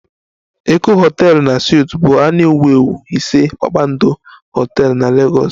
Eko hotel na suites bụ a na-ewu ewu ise kpakpando hotel na Lagos